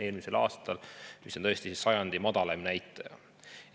See on tõesti sajandi madalaim näitaja.